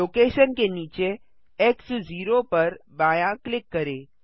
location के नीचे X 0 पर बायाँ क्लिक करें